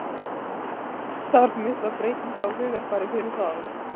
Þarf mikla breytingu á hugarfari fyrir það?